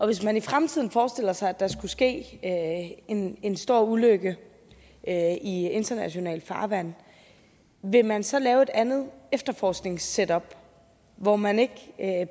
hvis man i fremtiden forestiller sig at der skulle ske en en stor ulykke i internationalt farvand vil man så lave et andet efterforskningssetup hvor man ikke